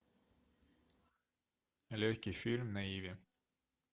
легкий фильм на иви